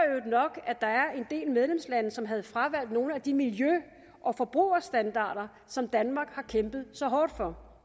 øvrigt nok at der var en del medlemslande som havde fravalgt nogle af de miljø og forbrugerstandarder som danmark har kæmpet så hårdt for